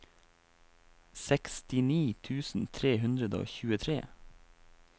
sekstini tusen tre hundre og tjuetre